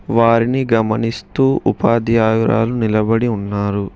వారిని గమనిస్తూ ఉపాధ్యాయురాలు నిలబడి ఉన్నారు.